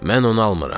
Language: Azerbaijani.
Mən onu almıram.